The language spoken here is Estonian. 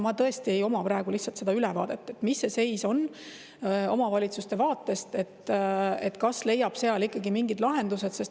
Mul tõesti ei ole praegu lihtsalt seda ülevaadet, mis see seis on omavalitsuste vaatest, kas leiab seal ikkagi mingid lahendused.